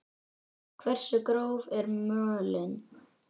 Hversu gróf er mölin?